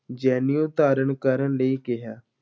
ਜਨੇਊ ਧਾਰਨ ਕਰਨ ਲਈ ਕਿਹਾ।